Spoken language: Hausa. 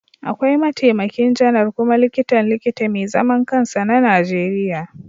Akwai Mataimakin Janar kuma Likitan Likita mai zaman kansa na Najeriya